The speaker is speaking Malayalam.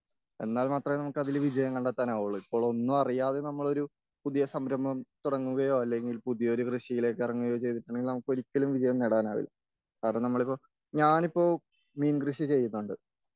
എന്നാൽ മാത്രമേ നമുക്ക് അതിൽ വിജയം കണ്ടെത്താൻ അവൊള്ളൂ.ഇപ്പോൾ ഒന്നും അറിയാതെ നമ്മളൊരു പുതിയ സംരഭം തുടങ്ങുകയോ അല്ലെങ്കിൽ പുതിയൊരു കൃഷിയിലേക്ക് ഇറങ്ങുകയോ ചെയ്തിട്ടുണ്ടെങ്കിൽ നമുക്ക് ഒരിക്കലും വിജയം നേടാൻ കഴിയില്ല.കാരണം നമ്മളിപ്പോൾ, ഞാനിപ്പോൾ മീൻ കൃഷി ചെയ്യുന്നുണ്ട്.